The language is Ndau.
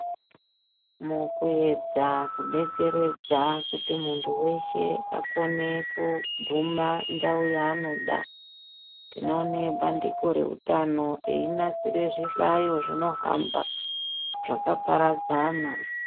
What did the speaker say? Mukuendza kubetseredza kuntu muntu weshe akone kuguma ndao yaanoda tinoone bandiko reutano reinasire zvihlayo zvinohamba zvakaparadzana .